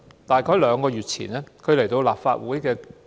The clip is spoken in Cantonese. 這是她第二次在立法會發言。